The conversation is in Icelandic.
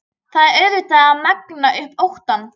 Það er auðvelt að magna upp óttann.